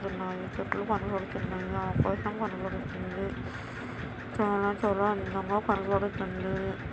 కనబడుతున్నాయి. చెట్లు కనబడుతున్నాయి. ఆకాశం కనపడుతుంది. చాలా చాలా అందంగా కనబడుతుంది.